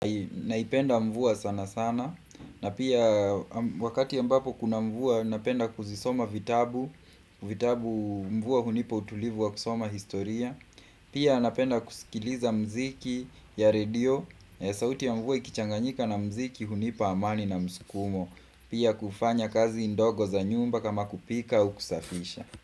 Naipenda mvua sana sana, na pia wakati ambapo kuna mvua napenda kuzisoma vitabu, vitabu mvua hunipa utulivu wa kusoma historia. Pia napenda kusikiliza mziki ya radio, ya sauti ya mvua ikichanganyika na mziki hunipa amani na mskumo. Pia kufanya kazi ndogo za nyumba kama kupika u kusafisha.